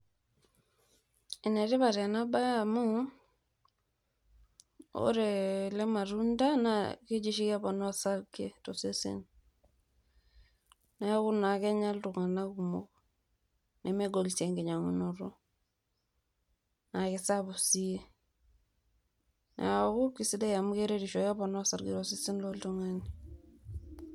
ene tipat ena bae amu ore ele matunda naa keji oshi keponaa osarge tosesen niaku naa kenya iltunganak kumok nemegol sii enkinyangunoto naa kisapuk sii niaku kisidai amu keretisho keponaa osarge tosesen loltungani.